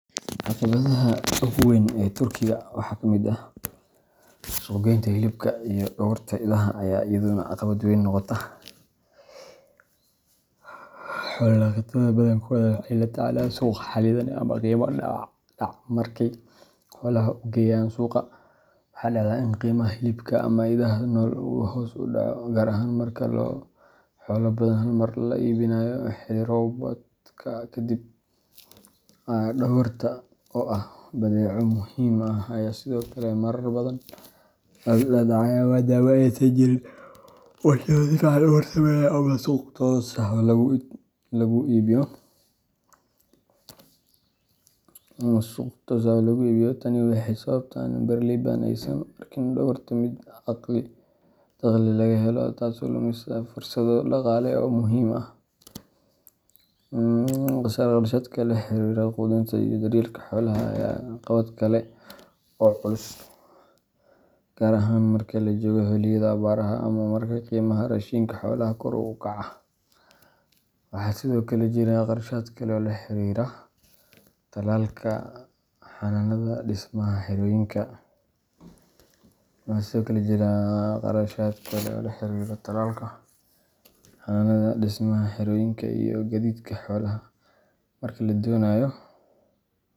Caqibaadaha ogu weyn ee turkiga waxaa kamiid ah hilibka idhaha iyo dogorta aya ayadana caqawaad weyn noqota xola daqataada badhi waxee la tacalan dac marki suqa hilibka in u hos udaco, dohorta oo ah bec muhiim ah, gar ahan marki la jogo xiliyaada awarta rashinka xolaha kori ukaca, waxaa sithokale jiraa qorshaad laxiriro xananka, xananda dismoyinka xolaha marki la donayo.